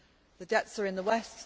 The debts are in the West